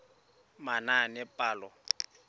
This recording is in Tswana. manaanepalo